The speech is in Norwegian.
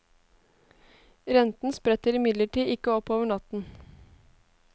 Renten spretter imidlertid ikke opp over natten.